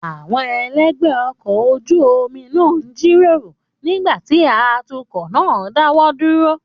Àwọn elegbe ọkọ̀ ojú omi náà ń jíròrò nígbà tí atukọ̀ náà dáwọ́ dúró.